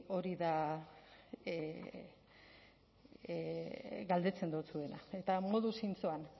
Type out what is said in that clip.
hori da galdetzen dotzuena eta modu zintzoan